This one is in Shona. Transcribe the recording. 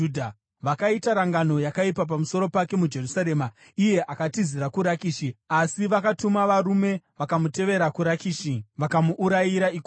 Vakaita rangano yakaipa pamusoro pake muJerusarema, iye akatizira kuRakishi, asi vakatuma varume vakamutevera kuRakishi vakamuurayira ikoko.